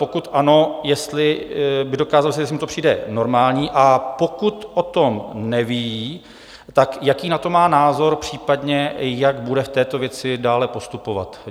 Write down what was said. Pokud ano, jestli by dokázal říct, jestli mu to přijde normální, a pokud o tom neví, tak jaký na to má názor, případně jak bude v této věci dále postupovat.